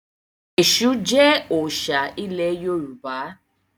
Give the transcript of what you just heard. Ẹ̀ṣù jẹ́ òòṣà ilẹ̀ Yorùbá.